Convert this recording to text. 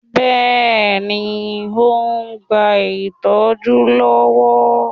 Bẹ́ẹ̀ni. Ó ń gba ìtọ́jú lọ́wọ́.